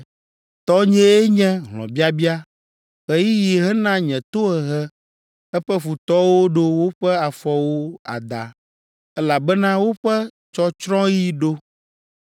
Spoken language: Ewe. Tɔnyee nye hlɔ̃biabia. Ɣeyiɣi hena nye tohehe eƒe futɔwo ɖo woƒe afɔwo ada; elabena woƒe tsɔtsrɔ̃ɣi ɖo!